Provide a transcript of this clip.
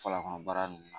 Fala kɔnɔ baara nunnu